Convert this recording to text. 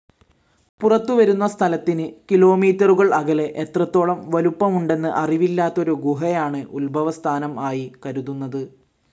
പുറത്തുവരുന്ന സ്ഥലത്തിന് കിലോമീറ്ററുകൾ അകലെ എത്രത്തോളം വലുപ്പമുണ്ടെന്ന് അറിവില്ലാത്തൊരു ഗുഹയാണ് ഉത്ഭവസ്ഥാനം ആയി കരുതുന്നത്.